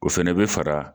O fɛnɛ bɛ fara